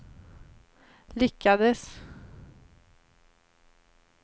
lyckades